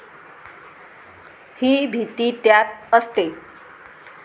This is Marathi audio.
ही भीती त्यात असते.